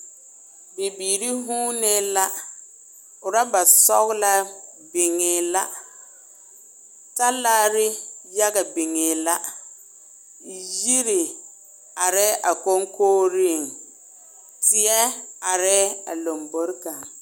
Bibiiri huunee la, oraba sɔgelaa biŋee la, talaare yaga biŋee la, yiri arɛɛ a koŋkogiriŋ, teɛ arɛɛ a lombori kaŋ.